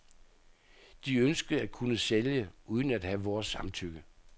De ønskede at kunne sælge uden at have vores samtykke.